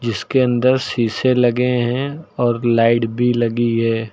इसके अंदर शीशे लगे हैं और लाइट भी लगी है।